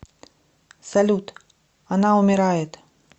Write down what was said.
салют она умирает